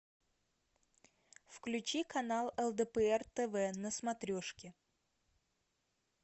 включи канал лдпр тв на смотрешке